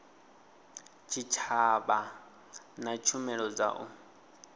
tshitshavha na tshumelo dza u